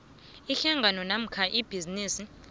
ihlangano namkha ibhizinisi